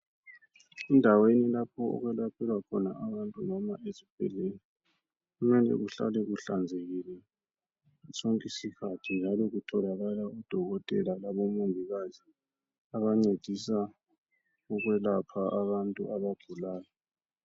Indaweni lapho okwelatshelwa khoba abantu, kumbeni isibhedlela. Kumele kuhlale kuhlanzekile. ngaso sonke isikhathi, njalo kutholakala, odokotela kumbe omongikazi abancedisa ukwelapha abantu abagulayo.